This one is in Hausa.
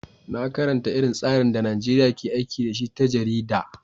Na karanta irin tsarin da Najeriya ke aiki da shi ta jarida.